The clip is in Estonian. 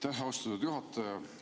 Aitäh, austatud juhataja!